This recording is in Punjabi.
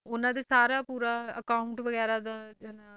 ਉਹਨਾਂ ਦੇ ਸਾਰਾ ਪੂਰਾ account ਵਗ਼ੈਰਾ ਦਾ ਹਨਾ,